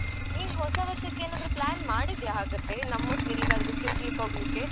ನೀನ್ ಹೊಸ ವರ್ಷಕ್ಕೆ ಏನಾದ್ರು plan ಮಾಡಿದ್ದೀಯಾ ಹಾಗಾದ್ರೆ ನಮ್ಮೊಟ್ಟಿಗ್ ಎಲ್ಲಿಗಾದ್ರೂ ತೀರ್ಗ್‌ಲಿಕ್‌ ಹೋಗ್ಲಿಕ್ಕೆ?